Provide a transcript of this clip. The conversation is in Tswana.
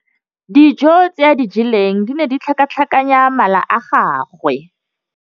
Dijô tse a di jeleng di ne di tlhakatlhakanya mala a gagwe.